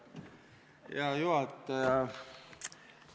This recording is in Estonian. Hea juhataja!